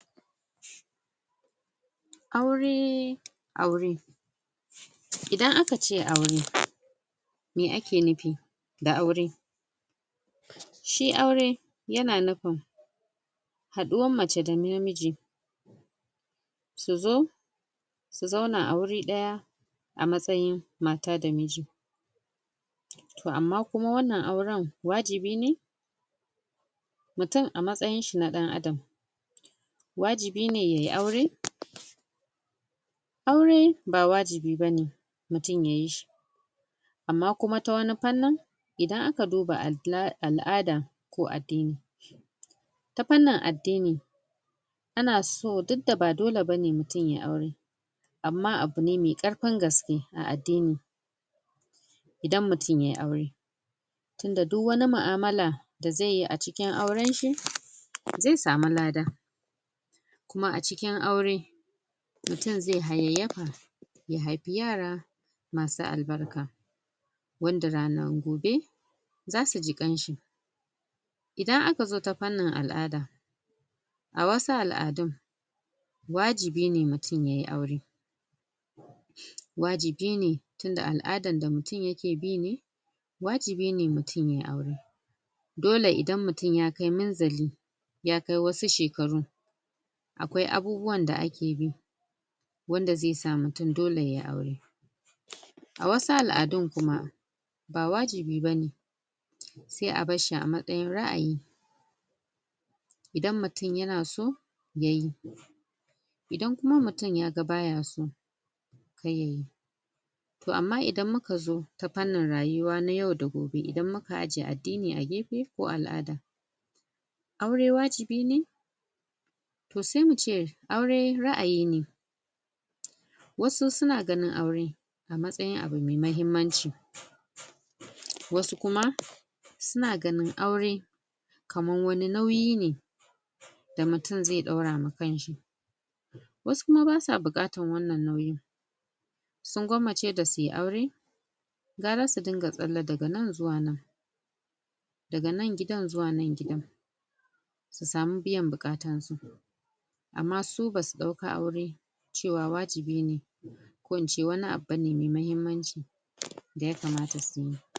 aure aure idan akace aure meh ake nufi da aure shi aure yana nufin haɗuwan mace da namiji su zo su zauna a wuri ɗaya a matsayin mata da miji toh amma kuma wannan auren wajibi ne mutum a matsayin shi na dan adam wajibi ne yayi aure aure ba wajibi bane mutum yayi shi amma kuma ta wani fannin idan aka duba al'ada ko addini ta fannin addini ana so duk da ba dole bane mutum yayi aure amma abune mai ƙarfin gaske a addini idan mutun yayi aure tun da duk wani mu'amala da zaiyi a cikin auren shi zai samu lada kuma acikin aure mutun zai hayyayyafa ya haifi yara masu albarka wanda ranan gobe zasuji ƙan shi idan akazo ta fannin al'ada a wasu al'adun wajibi ne mutum yayi aure wajibi ne tunda al'adan da mutn yake bi ne wajibi ne mutum yayi aure dole indan mutum yakai munzali ya kai wasu shekaru akwai abubuwan da ake bi wanda zai sa mutum dole yayi aure a wasu al'adun kuma ba wajibi bane sai a barshi a matsayin ra'ayi idan mutun yana so yayi idan kuma mutun yaga baya so ƙar yayi toh amma idan mukazo ta fannin rayuwa yau da gobe idan muka ajiye addini ko al'ada aure wajibi ne toh sai muve aure ra'ayi ne wasu suna ganin aure a matsayin abu mai mahimmanci wasu kuma suna ganin aure kaman wani nauyi ne da mutun zai daura ma kanshi wasu kuma basuwa buƙatan wannan nauyin sun gwamace dasuyi aure gwara su dinga tsalle daga nan zuwa nan daga nan gidan zuwa nan gidan su samu biyan buƙatan su amma su basu dauka aure cewa wajibi ne ko ince wani abu mai mahimmanci da yakamata suyi